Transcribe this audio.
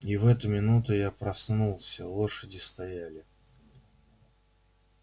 и в эту минуту я проснулся лошади стояли